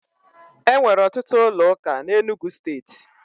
E nwere ọtụtụ ụlọụka na Enugwu Steeti.